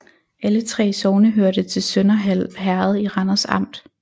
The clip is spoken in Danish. Alle 3 sogne hørte til Sønderhald Herred i Randers Amt